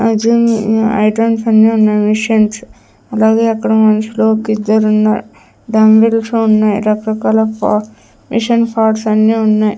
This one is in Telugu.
ఆ జిమ్ ఐటమ్స్ అన్నీ ఉన్నాయి మిషన్స్ అలాగే అక్కడ మనుషులు ఒకిద్దరున్నారు డంబిల్స్ ఉన్నాయి రకరకాల పార్ట్ మిషన్ పార్ట్స్ అన్ని ఉన్నాయ్.